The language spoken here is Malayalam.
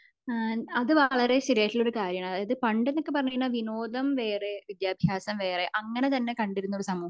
അത് വളരെ ശെരിയായിട്ടുള്ള കാര്യമാണ് അതായത് പണ്ട് എന്ന് പറഞ്ഞ കഴിഞ്ഞ വിനോദം വേറെ വിദ്യാഭ്യാസം വേറെ അങ്ങനെ തന്നെ കണ്ടിരുന്ന ഒരു സമൂഹം ആയിരുന്നു